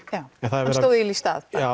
hann stóð eiginlega í stað já